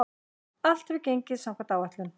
Allt hefur gengið samkvæmt áætlun.